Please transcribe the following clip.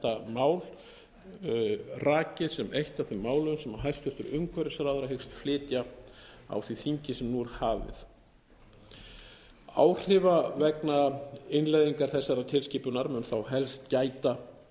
mál rakið sem eitt af þeim málum sem hæstvirtur umhverfisráðherra hyggst flytja á því þingi sem nú er hafið áhrifa vegna innleiðingar þessarar tilskipunar mun þá helst gæta